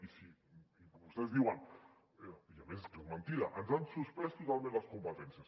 i vostès diuen i a més és que és mentida ens han suspès totalment les competències